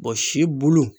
si bulu